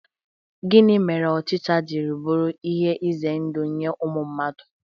Gịnị mere ochicha ji buru ihe ize ndụ nye ụmụ mmadụ?